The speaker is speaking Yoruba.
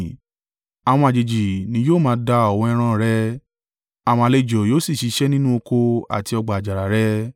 Àwọn àjèjì ni yóò máa da ọ̀wọ́ ẹran rẹ; àwọn àlejò yóò sì ṣiṣẹ́ nínú oko àti ọgbà àjàrà rẹ.